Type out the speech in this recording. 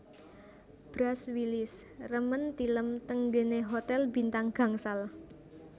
Bruce Willis remen tilem teng nggene hotel bintang gangsal